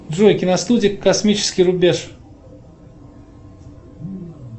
джой киностудия космический рубеж